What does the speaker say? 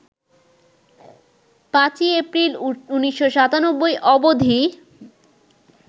৫ই এপ্রিল, ১৯৯৭ অবধি